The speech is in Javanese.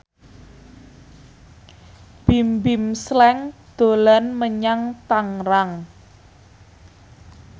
Bimbim Slank dolan menyang Tangerang